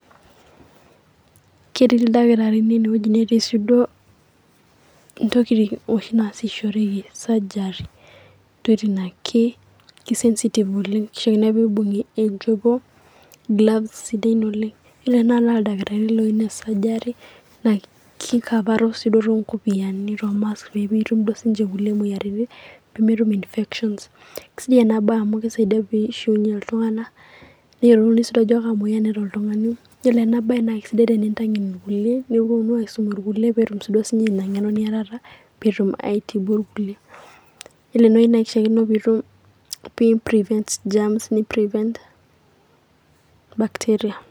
Ketii ildakitarini enewueji netii si duo intokiting' oshi naasishoreki surgery. Intokiting' na ki sensitive oleng',kishori nake nibung' aijuko, gloves sidan oleng'. Yiolo tanakata na ildakitarini loyieu nees surgery ,na kikavaro si duo tonkopiyiani, to mask pemetum si duo sinche nkulie moyiaritin, pemetum infection. Kesidai ena bae amu kisaidia nishiunye iltung'anak, neyiolou si duo ajo ka moyian eeta oltung'ani. Yiolo ena bae na kesidai tenintang'en ilkulie neponu aisum ilkulie netum sinche ina ng'eno niatata, petum aitibu irkulie. Yiolo enewei naa kishaakino pitum, pimbrivent germs o bacteria.